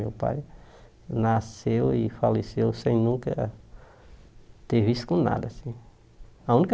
Meu pai nasceu e faleceu sem nunca ter vício com nada assim a única.